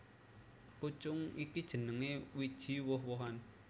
Pucung iku jenengé wiji woh wohan